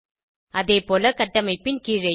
அதேபோல கட்டமைப்பின் கீழேயும்